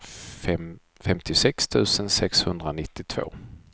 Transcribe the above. femtiosex tusen sexhundranittiotvå